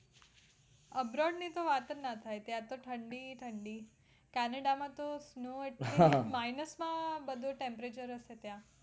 abroad ની તો વાતજ ના થાય